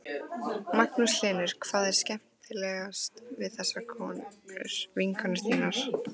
Magnús Hlynur: Hvað er skemmtilegast við þessar konur, vinkonur þínar?